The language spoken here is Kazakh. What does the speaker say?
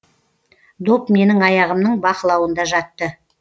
доп менің аяғымның бақылауында жатты